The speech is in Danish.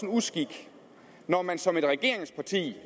uskik når man som regeringsparti